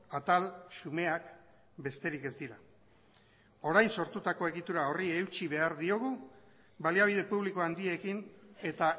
atal xumeak besterik ez dira orain sortutako egitura horri eutsi behar diogu baliabide publiko handiekin eta